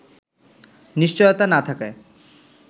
নিশ্চয়তা না থাকায়